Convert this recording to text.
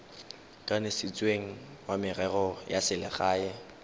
kanisitsweng wa merero ya selegae